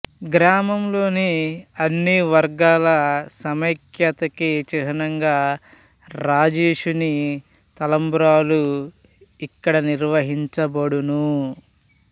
గ్రామంలోని అన్ని వర్గాల సమైక్యత కి చిహ్నంగా రాజేషుని తలంబ్రాలు ఇక్కడ నిర్వహించబడును